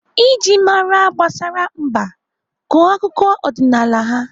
Iji mara gbasara mba, gụọ akụkọ ọdịnaala ham